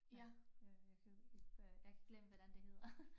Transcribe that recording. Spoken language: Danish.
Ja øh jeg kunne ikke jeg jeg glemt hvordan det hedder